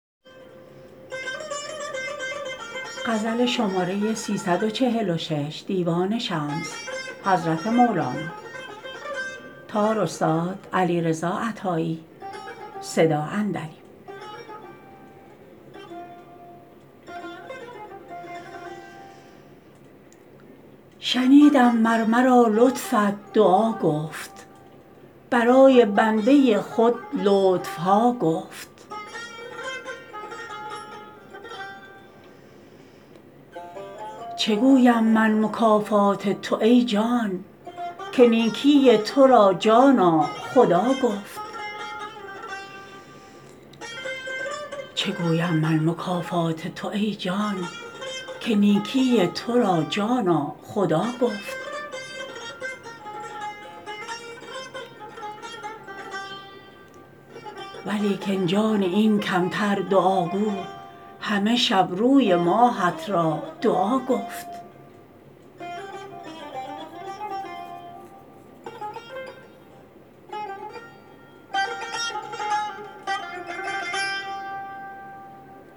شنیدم مر مرا لطفت دعا گفت برای بنده خود لطف ها گفت چه گویم من مکافات تو ای جان که نیکی تو را جانا خدا گفت ولیکن جان این کمتر دعاگو همه شب روی ماهت را دعا گفت